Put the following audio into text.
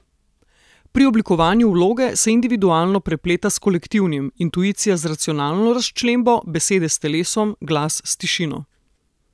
Pri oblikovanju vloge se individualno prepleta s kolektivnim, intuicija z racionalno razčlembo, besede s telesom, glas s tišino.